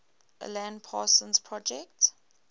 alan parsons project